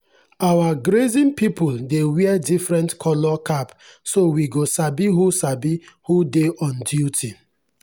our grazing people dey wear different colour cap so we go sabi who sabi who dey on duty.